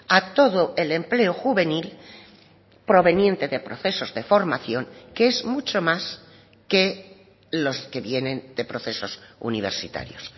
a todo el empleo juvenil proveniente de procesos de formación que es mucho más que los que vienen de procesos universitarios